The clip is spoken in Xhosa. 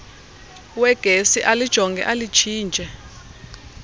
wegesi alijonge alitshintshe